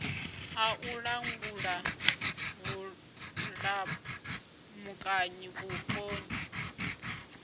a u langula vhulamukanyi vhuponi